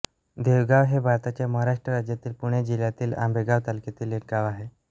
देवगाव हे भारताच्या महाराष्ट्र राज्यातील पुणे जिल्ह्यातील आंबेगाव तालुक्यातील एक गाव आहे